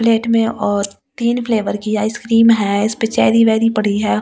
Plate में और तीन फ्लेवर की आइस क्रीम है इस पे चेरी वेर्री पड़ी है और आइस क्रीम ।